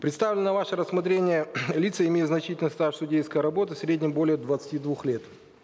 представленные на ваше рассмотрение лица имеют значительный стаж судейской работы в среднем более двадцати двух лет